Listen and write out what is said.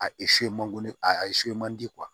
A man di a ye so in man di